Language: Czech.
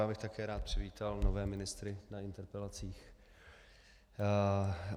Já bych také rád přivítal nové ministry na interpelacích.